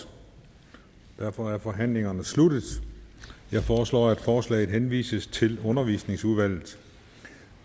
og derfor er forhandlingen sluttet jeg foreslår at forslaget henvises til undervisningsudvalget